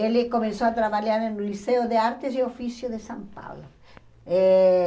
Ele começou a trabalhar no Liceu de Artes e Ofícios de São Paulo. Eh